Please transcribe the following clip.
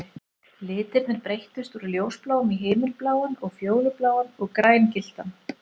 Litirnir breyttust úr ljósbláum í himinbláan og fjólubláan og grængylltan